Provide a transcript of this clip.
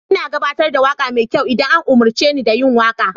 Ina gabatar da waƙa mai kyau idan an umarce ni da yin waƙa.